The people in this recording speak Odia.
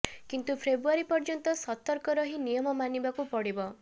କିନ୍ତୁ ଫେବୃଆରୀ ପର୍ଯ୍ୟନ୍ତ ସତର୍କ ରହି ନିୟମ ମାନିବାକୁ ପଡିବ